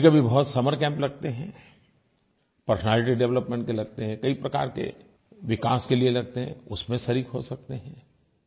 कभीकभी बहुत summer camp लगते हैं पर्सनैलिटी डेवलपमेंट के लगते हैं कई प्रकार के विकास के लिये लगते हैं उसमें शरीक़ हो सकते हैं